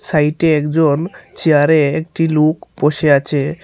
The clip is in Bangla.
সাইটে একজন চেয়ারে একটি লুক বসে আছে।